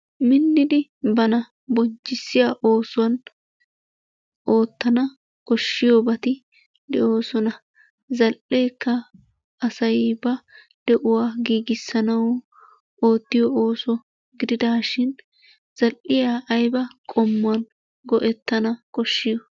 Minnidi bana bonchchissiya oosuwa oottana koshshiyoobati doosona. Hegeekka asay ba de'uwa giigissanawu oottiyo ooso gididashin zal''iyaa aybba qommon go''ettana koshshiyo?